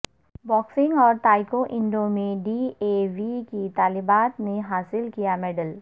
boxing اورتائکو انڈو میں ڈی اے وی کی طالبات نے حاصل کیا میڈل